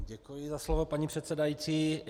Děkuji za slovo, paní předsedající.